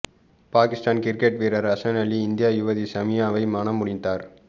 Pakistan cricket வீரர் ஹசன் அலி இந்திய யுவதி சமியாவை மணமுடித்தார்